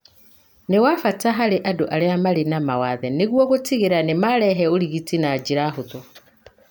nĩ wa bata harĩ andũ arĩa marĩ na mawathe nĩguo gũtigĩrĩra nĩ maraheo ũrigiti na njĩra hũthũ.